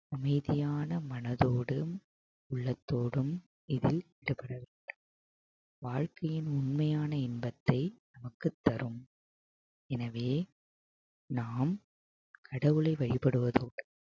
அமைதியான மனதோடும் உள்ளத்தோடும் இதில் ஈடுபடவேண்டும் வாழ்க்கையின் உண்மையான இன்பத்தை நமக்குத் தரும் எனவே நாம் கடவுளை வழிபடுவதுடன்